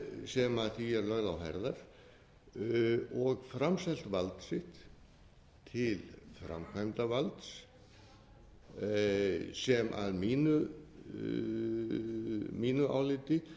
sem því er lögð á herðar og framselt vald sitt til framkvæmdarvalds sem að mínu áliti